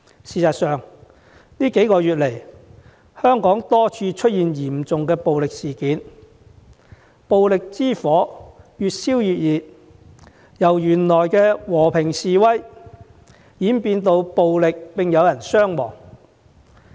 事實上，這數個月來，香港多處出現嚴重暴力事件，暴力之火越燒越烈，本來的和平示威演變成暴力衝突並有人傷亡。